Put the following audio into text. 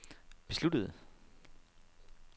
besluttede